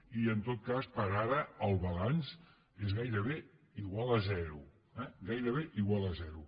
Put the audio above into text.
i en tot cas per ara el balanç és gairebé igual a zero eh gairebé igual a zero